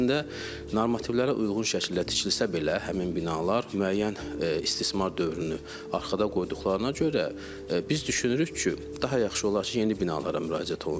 Əslində, normativlərə uyğun şəkildə tikilsə belə, həmin binalar müəyyən istismar dövrünü arxada qoyduqlarına görə, biz düşünürük ki, daha yaxşı olar ki, yeni binalara müraciət olunsun.